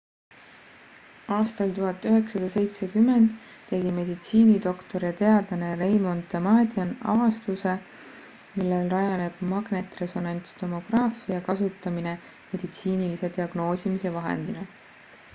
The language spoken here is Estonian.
aastal 1970 tegi meditsiinidoktor ja teadlane raymond damadian avastuse millel rajaneb magnetresonantstomograafia kasutamine meditsiinilise diagnoosimise vahendina